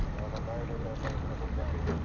ಅವನ Bio data ಎಲ್ಲ ತಗೊಂಡ್ ಬರ್ಲಿಕ್ಕೆ ಹೇಳ್ತಿನಿ.